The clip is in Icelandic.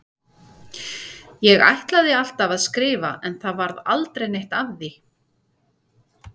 Ég ætlaði alltaf að skrifa en það varð aldrei neitt af því.